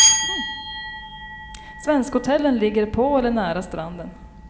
Svenskhotellen ligger på eller nära stranden.